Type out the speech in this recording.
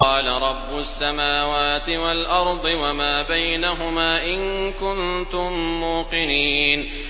قَالَ رَبُّ السَّمَاوَاتِ وَالْأَرْضِ وَمَا بَيْنَهُمَا ۖ إِن كُنتُم مُّوقِنِينَ